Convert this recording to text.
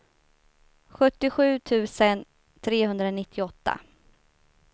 sjuttiosju tusen trehundranittioåtta